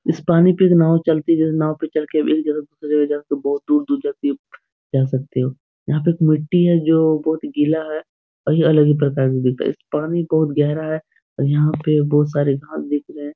इस पानी पे एक नाव चलती हैं नाव पे चल के एक जगह से दूसरी जगह बहुत दूर-दूर जा सकते हो यहाँ पे एक मिट्टी है जो बहुत ही गिला है और यह अलग ही प्रकार का दिख रहा इस पानी बहुत गहरा है और यहाँ पे बहुत सारे घास दिख रहे है।